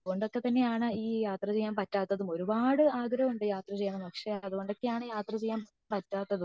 അതുകൊണ്ടൊക്കെ തന്നെ ആണ് ഈ യാത്ര ചെയ്യാൻ പറ്റാത്തതും ഒരുപാട് ആഗ്രഹം ഉണ്ട് യാത്ര ചെയ്യണമെന്ന് ഒക്കെ പക്ഷെ അതുകൊണ്ടൊക്കെ ആണ് യാത്ര ചെയ്യാൻ പറ്റാത്തതും